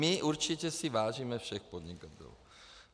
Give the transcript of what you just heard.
My si určitě vážíme všech podnikatelů.